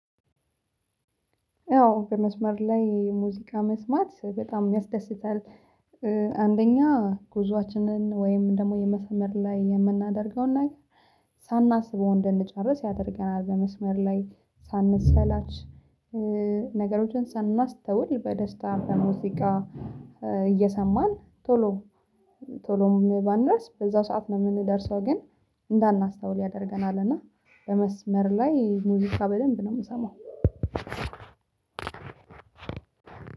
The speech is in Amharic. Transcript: አዎ በመስመር ላይ ሙዚቃ መስማት በጣም ያስደስታል። አንደኛ ጉዞአችንን ወይም ደሞ የመስመር ላይ የምናደርገውን ነገር ሳናስበው እንደንጨርስ ያደርገናል። በመስመር ላይ ሳንሰላች። ነገሮችን ሳናስተውል በደስታ በሙዚቃ እየሰማን ቶሎ ቶሎም ባንደርስ በዛ ሰዓት ነው ምንደርሰው። ግን እንዳናስተውል ያደርገናል። እና በመስመር ላይ ሙዚቃ በደንብ ነው ምሰማው።